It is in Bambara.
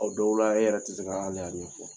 Aw dɔw la hali e yɛrɛ tɛ se k'a ɲɛfɔ